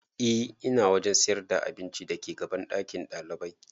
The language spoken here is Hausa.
E ina wajen sayar da abincin da ke gaban ɗakin ɗalibai